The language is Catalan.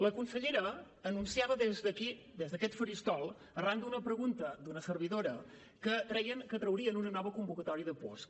la consellera anunciava des d’aquí des d’aquest faristol arran d’una pregunta d’una servidora que traurien una nova convocatòria de puosc